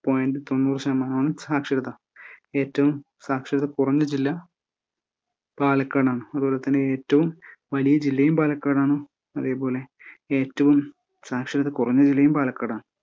Point തൊണ്ണൂറ് ശതമാനമാണ് സാക്ഷരതാ. ഏറ്റവും സാക്ഷരതാ കുറഞ്ഞ ജില്ലാ പാലക്കാടാണ് അതേപോലെതന്നെ ഏറ്റവും വലിയ ജില്ലയും പാലക്കാടാണ്‌. അതേപോലെ ഏറ്റവും സാക്ഷരതാ കുറഞ്ഞ ജില്ലയും പാലക്കാടാണ്.